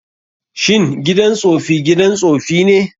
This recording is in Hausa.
Shin gidan tsofi gidan tsofi ne?